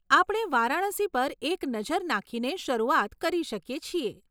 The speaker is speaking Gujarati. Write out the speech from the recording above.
આપણે વારાણસી પર એક નજર નાખીને શરૂઆત કરી શકીએ છીએ.